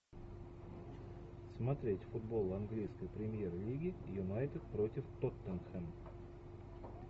смотреть футбол английской премьер лиги юнайтед против тоттенхэм